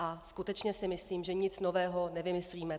A skutečně si myslím, že nic nového nevymyslíme.